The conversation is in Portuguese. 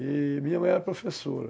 E minha mãe era professora.